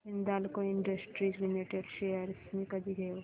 Hindalco industries limited shares मी कधी घेऊ